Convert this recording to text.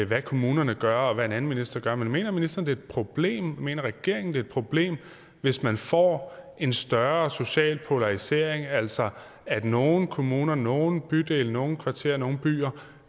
hvad kommunerne gør og hvad en anden minister gør mener ministeren er et problem mener regeringen det er problem hvis man får en større social polarisering altså at nogle kommuner nogle bydele nogle kvarterer nogle byer